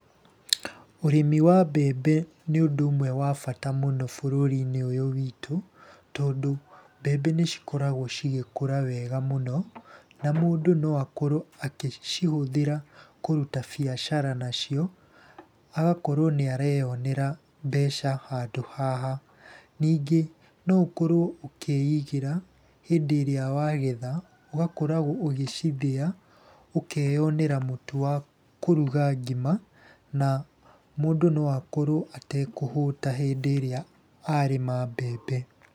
Ũrĩmi wa mbembe nĩ ũndũ ũmwe wa bata mũno bũrũri-inĩ ũyũ witũ, tondũ mbembe nĩ cikoragwo cigĩkũra wega mũno, na mũndũ no akorwo akĩcihũthĩra kũruta biacara nacio. Agakorwo nĩ areyonera mbeca handũ haha. Ningĩ no ũkorwo ũkĩigĩra hĩndĩ ĩrĩa wagetha, ũgakorwo ũgĩcithĩya, ũkeyonera mũtu wa kũruga ngima, na mũndũ no akorwo atekũhũta hĩndĩ ĩrĩa arĩma mbembe.